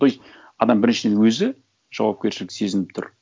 то есть адам біріншіден өзі жауапкершілік сезініп тұр